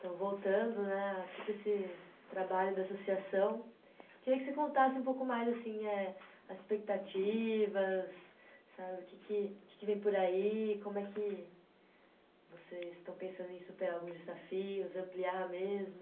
Então, voltando né, aqui para esse trabalho da associação, eu queria que você contasse um pouco mais assim eh, as expectativas, sabe, o que que, o que que vem por aí, como é que vocês estão pensando em superar os desafios, ampliar mesmo.